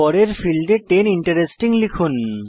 পরের ফীল্ডে ten interesting লিখুন